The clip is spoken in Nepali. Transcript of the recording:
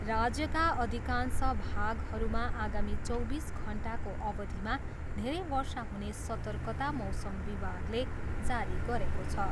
राज्यका अधिकांश भागहरूमा आगामी चौबिस घन्टाको अवधिमा धेरै वर्षा हुने सतर्कता मौसम विभागले जारी गरेको छ।